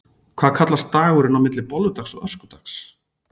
Hvað kallast dagurinn á milli bolludags og öskudags?